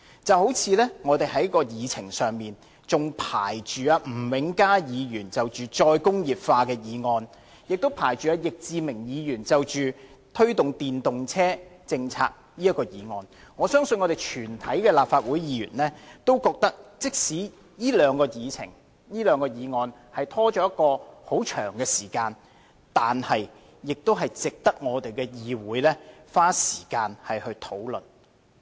正如在立法會議程上仍排列了吳永嘉議員就再工業化的議案，以及易志明議員就推動電動車政策的議案，我相信全體立法會議員均會認為，即使這兩項議程、議案被拖延了一段很長的時間，但仍值得議會花時間來討論。